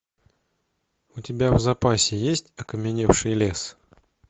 у тебя в запасе есть окаменевший лес